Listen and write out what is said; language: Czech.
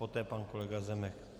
Poté pan kolega Zemek.